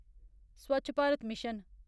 Swachh Bharat mission